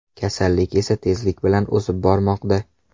Kasallik esa tezlik bilan o‘sib bormoqda.